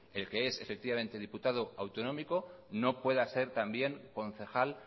el que es efectivamente diputado autonómico no pueda ser también concejal